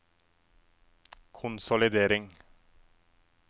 konsolidering